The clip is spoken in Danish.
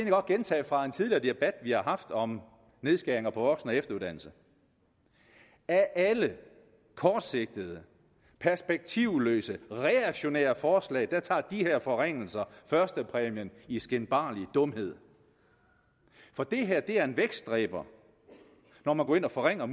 godt gentage fra en tidligere debat vi har haft om nedskæringer på voksen og efteruddannelse at af alle kortsigtede perspektivløse reaktionære forslag tager de her forringelser førstepræmien i skinbarlig dumhed for det er en vækstdræber når man går ind og forringer